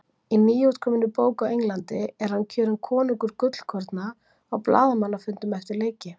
Í nýútkominni bók á Englandi er hann kjörinn konungur gullkorna á blaðamannafundum eftir leiki!